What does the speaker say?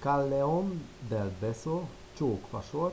callejon del beso csók fasor.